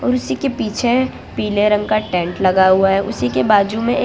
उसी के पीछे पीले रंग का टेंट लगा हुआ है उसी के बाजू में ए--